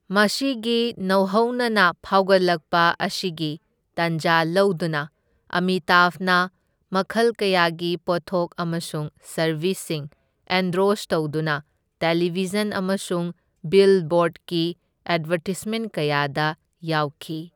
ꯃꯁꯤꯒꯤ ꯅꯧꯍꯧꯅꯅ ꯐꯥꯎꯒꯠꯂꯛꯄ ꯑꯁꯤꯒꯤ ꯇꯥꯟꯖꯥ ꯂꯧꯗꯨꯅ, ꯑꯃꯤꯇꯥꯚꯅ ꯃꯈꯜ ꯀꯌꯥꯒꯤ ꯄꯣꯠꯊꯣꯛ ꯑꯃꯁꯨꯡ ꯁꯔꯕꯤꯁꯁꯤꯡ ꯑꯦꯟꯗꯣꯔꯁ ꯇꯧꯗꯨꯅ ꯇꯦꯂꯤꯚꯤꯖꯟ ꯑꯃꯁꯨꯡ ꯕꯤꯜꯕꯣꯔꯗꯀꯤ ꯑꯦꯗꯚꯔꯇꯤꯁꯃꯦꯟꯠ ꯀꯌꯥꯗ ꯌꯥꯎꯈꯤ꯫